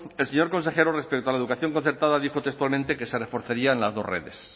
el señor consejero respecto a la educación concertada dijo textualmente que se reforzaría las dos redes